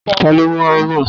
Tani ó mú ámà?